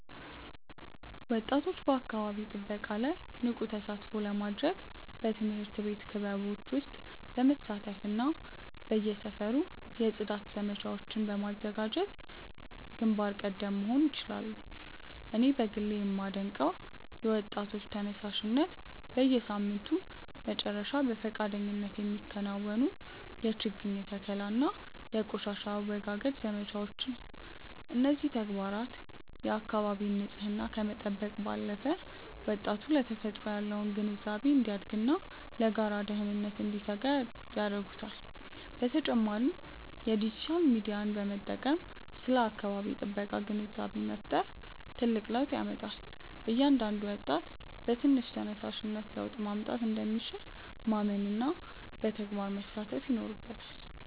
ወጣቶች በአካባቢ ጥበቃ ላይ ንቁ ተሳትፎ ለማድረግ በትምህርት ቤት ክበቦች ውስጥ በመሳተፍና በየሰፈሩ የጽዳት ዘመቻዎችን በማዘጋጀት ግንባር ቀደም መሆን ይችላሉ። እኔ በግሌ የማደንቀው የወጣቶች ተነሳሽነት፣ በየሳምንቱ መጨረሻ በፈቃደኝነት የሚከናወኑ የችግኝ ተከላና የቆሻሻ አወጋገድ ዘመቻዎችን ነው። እነዚህ ተግባራት የአካባቢን ንፅህና ከመጠበቅ ባለፈ፣ ወጣቱ ለተፈጥሮ ያለው ግንዛቤ እንዲያድግና ለጋራ ደህንነት እንዲተጋ ያደርጉታል። በተጨማሪም የዲጂታል ሚዲያን በመጠቀም ስለ አካባቢ ጥበቃ ግንዛቤ መፍጠር ትልቅ ለውጥ ያመጣል። እያንዳንዱ ወጣት በትንሽ ተነሳሽነት ለውጥ ማምጣት እንደሚችል ማመንና በተግባር መሳተፍ ይኖርበታል።